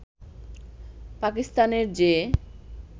পাকিস্তানের যে